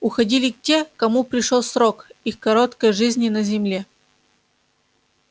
уходили те кому пришёл срок их короткой жизни на земле